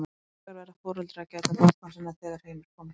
hins vegar verða foreldrar að gæta barna sinna þegar heim er komið